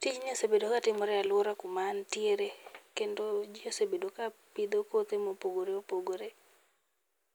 Tijni osebedo katimore e aluora kuma antiere kendo ji osebedo kapidho kothe mopogore opogore.